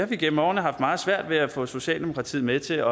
vi gennem årene haft meget svært ved at få socialdemokratiet med til